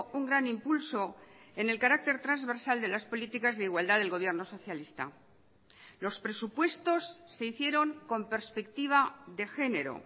un gran impulso en el carácter transversal de las políticas de igualdad del gobierno socialista los presupuestos se hicieron con perspectiva de genero